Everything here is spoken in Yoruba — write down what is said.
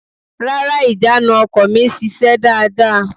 Rárá, ìjánu ọkọ̀ mi sise dáàda.